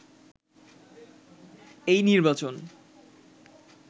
এই নির্বাচন